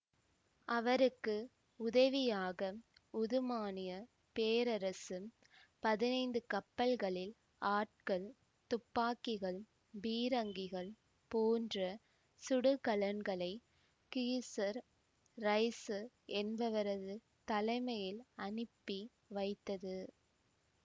அவருக்கு உதவியாக உதுமானியப் பேரரசு பதினைந்து கப்பல்களில் ஆட்கள் துப்பாக்கிகள் பீரங்கிகள் போன்ற சுடுகலன்களை கீசர் ரைசு என்பவரது தலைமையில் அனுப்பி வைத்தது